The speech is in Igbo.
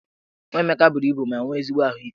Nwa Emeka buru ibu ma nwee ezigbo ahụike.